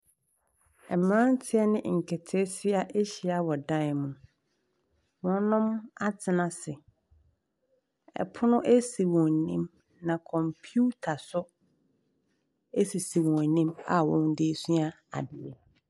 Mmranteɛ ɛne nketesia ahyia wɔ dan mu. Wɔnom atena ase. Ɛpono asi wɔn anim, na kɔmputa so asisi wɔn anim a wɔmmo de sua adeɛ.